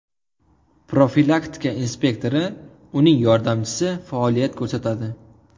Profilaktika inspektori, uning yordamchisi faoliyat ko‘rsatadi.